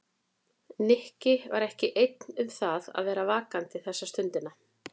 Nikki var ekki einn um það að vera vakandi þessa stundina.